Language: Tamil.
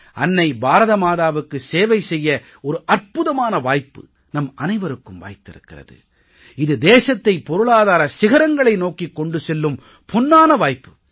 அன்னை பாரத மாதாவுக்கு சேவை செய்ய ஒரு அற்புதமான வாய்ப்பு நம் அனைவருக்கும் வாய்த்திருக்கிறது இது தேசத்தைப் பொருளாதார சிகரங்களை நோக்கிக் கொண்டு செல்லும் பொன்னான வாய்ப்பு